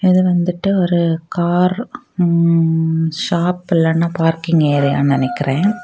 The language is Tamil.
இது வந்துட்டு ஒரு கார் ம்ம்ம் ஷாப் இல்லன்னா பார்க்கிங் ஏரியானு நினைக்கிறே.